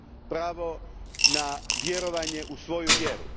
Pravo na vjerovanje u svoju vjeru.